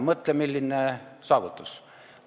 Mõtle, milline saavutus!